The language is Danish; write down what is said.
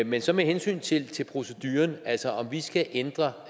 men så med hensyn til til proceduren altså om vi skal ændre